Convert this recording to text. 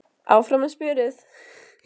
Áfram með smjörið!